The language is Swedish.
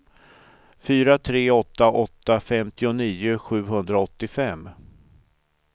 fyra tre åtta åtta femtionio sjuhundraåttiofem